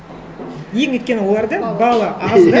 енді өйткені оларда баллы аз да